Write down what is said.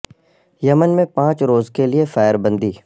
یمن میں پانچ روز کے لیے فائر بندی